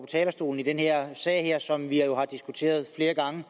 talerstolen i den her sag som vi jo har diskuteret flere gange